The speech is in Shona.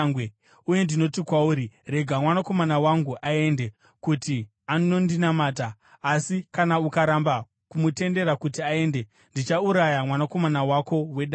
uye ndinoti kwauri, “Rega mwanakomana wangu aende, kuti anondinamata.” Asi kana ukaramba kumutendera kuti aende, ndichauraya mwanakomana wako wedangwe.’ ”